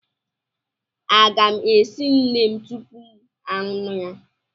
a ga m esi neem tupu m aṅụ ya?